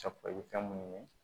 Safunɛ fɛn munnu ye